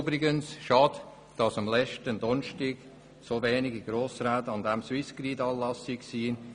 Übrigens ist es schade, dass letzten Donnerstag so wenige Grossräte den Swissgrid-Anlass besucht haben.